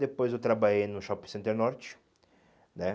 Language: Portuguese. Depois eu trabalhei no Shopping Center Norte, né?